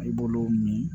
I b'olu min